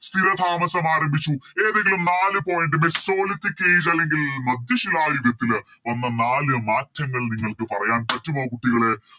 സ്ഥിരതാമസം ആരംഭിച്ചു ഏതെങ്കിലും നാല് Point mesoliphic age അല്ലെങ്കിൽ മധ്യശിലായുഗത്തില് വന്ന നാല് മാറ്റങ്ങൾ നിങ്ങൾക്ക് പറയാൻ പറ്റുമോ കുട്ടികളെ